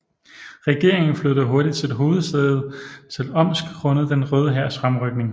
Regeringen flyttede hurtigt sit hovedsæde til Omsk grundet Den Røde Hærs fremrykning